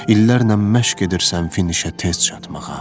İllərlə məşq edirsən finişə tez çatmağa.